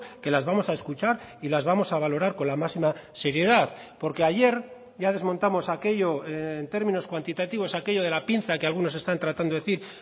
que las vamos a escuchar y las vamos a valorar con la máxima seriedad porque ayer ya desmontamos aquello en términos cuantitativos aquello de la pinza que algunos están tratando decir